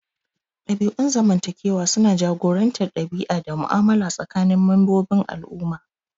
Dabi'un zamantakewa suna jagorantar ɗabi'a da mu'amala tsakanin membobin al'umma.